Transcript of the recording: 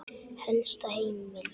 Helsta heimild